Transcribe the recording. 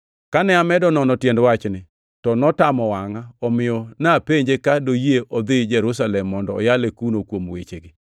Kane amedo nono tiend wachni, to notamo wangʼa, omiyo napenje ka doyie odhi Jerusalem mondo oyale kuno kuom wechegi.